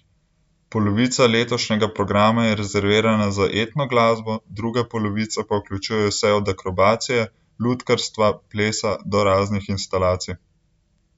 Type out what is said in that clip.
Polovica letošnjega programa je rezervirana za etno glasbo, druga polovica pa vključuje vse od akrobacije, lutkarstva, plesa do raznih instalacij.